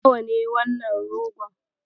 Nawa ne wannan rogon?